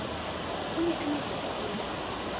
o ne a nyetse sethepu